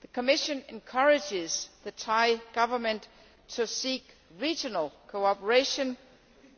The Commission encourages the Thai Government to seek regional cooperation,